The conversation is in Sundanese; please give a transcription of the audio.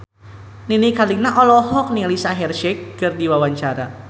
Nini Carlina olohok ningali Shaheer Sheikh keur diwawancara